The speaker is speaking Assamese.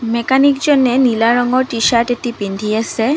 মেকানিকজনে নীলা ৰঙৰ টি-চাৰ্ট এটি পিন্ধি আছে।